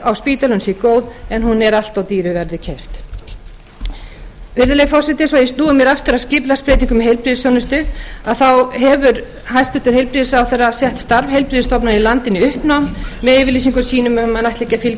á spítalanum sé góð en hún er allt of dýru verði keypt virðulegi forseti svo að ég snúi mér nú aftur að skipulagsbreytingum í heilbrigðisþjónustu hefur hæstvirtur heilbrigðisráðherra sett starf heilbrigðisstofnana í landinu í uppnám með yfirlýsingum sínum um að hann ætli ekki að